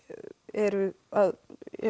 eru að